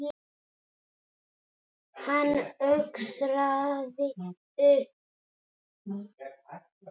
Hann öskraði upp.